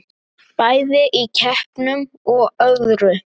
Bæði í keppnum og öðru.